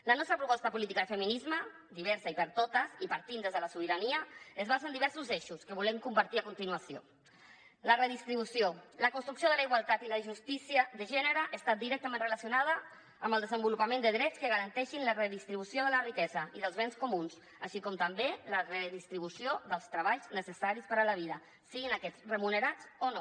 la nostra proposta política de feminisme diversa i per a totes i partint de la sobirania es basa en diversos eixos que volem compartir a continuació la redistribució la construcció de la igualtat i la justícia de gènere està directament relacionada amb el desenvolupament de drets que garanteixin la redistribució de la riquesa i dels béns comuns així com també la redistribució dels treballs necessaris per a la vida siguin aquests remunerats o no